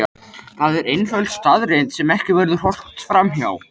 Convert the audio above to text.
Það er einföld staðreynd sem ekki verður horft fram hjá.